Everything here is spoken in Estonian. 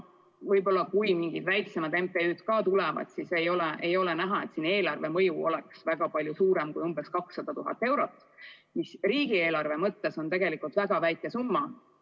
Võib-olla, kui mingid väiksemad MTÜ-d ka arvesse tulevad, siis ikkagi ei ole näha, et mõju eelarvele oleks väga palju suurem kui umbes 200 000 eurot, mis riigieelarve jaoks on tegelikult väga väike summa.